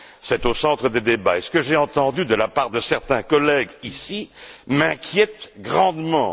C'est au centre des débats. Et ce que j'ai entendu de la part de certains collègues ici m'inquiète grandement.